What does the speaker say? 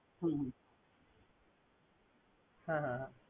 হুম হুম হ্যা হ্যা।